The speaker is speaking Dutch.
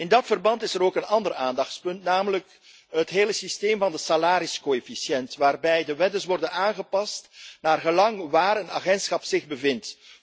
In dat verband is er ook een ander aandachtspunt, namelijk het hele systeem van de salariscoëfficiënt, waarbij de lonen worden aangepast naargelang de plaats waar een agentschap zich bevindt.